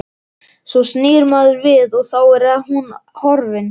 Svo snýr maður við og þá er hún horfin.